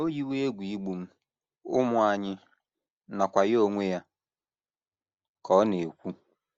“ O yiwo egwu igbu m, ụmụ anyị, nakwa ya onwe ya, ” ka ọ na - ekwu.